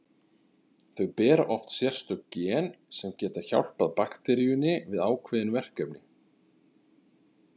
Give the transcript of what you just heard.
Þau bera oft sérstök gen sem geta hjálpað bakteríunni við ákveðin verkefni.